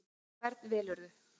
Og hvern velurðu?